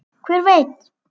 Hver veit!